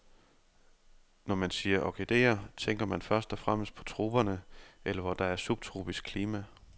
Når man siger orkidéer, tænker man først og fremmest på troperne eller hvor der er subtropisk klima.